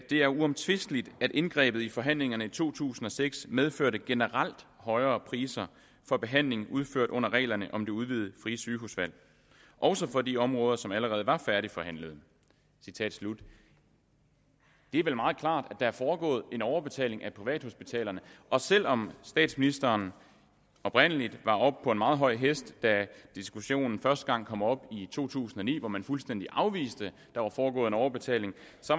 er uomtvisteligt at indgrebet i forhandlingerne i to tusind og seks medførte generelt højere priser for behandlinger udført under reglerne om det udvidede frie sygehusvalg også for de områder som allerede var færdigforhandlede det er vel meget klart at der er foregået en overbetaling af privathospitalerne og selv om statsministeren oprindelig var oppe på en meget høj hest da diskussionen første gang kom op i to tusind og ni hvor man fuldstændig afviste at der var foregået en overbetaling